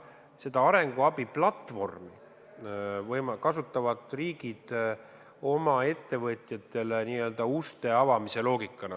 Seda arenguabi platvormi kasutavad riigid oma ettevõtjatele n-ö uste avamise loogikana.